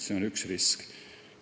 See on üks risk.